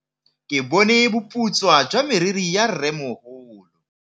Ke bone boputswa jwa meriri ya rrêmogolo.